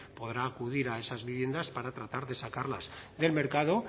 podrá acudir a esas viviendas para tratar de sacarlas del mercado